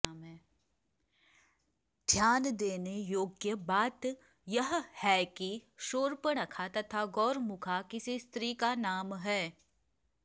ध्यान देने योग्य बात यह है कि शूर्पणखा तथा गौरमुखा किसी स्त्री का नाम है